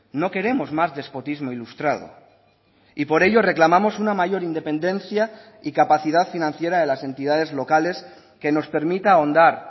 no queremos más despotismo ilustrado y por ello reclamamos una mayor independencia y capacidad financiera de las entidades locales que nos permita ahondar